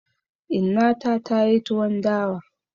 Inna ta ta yi tuwon dawa.